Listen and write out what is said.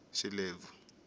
xilebvu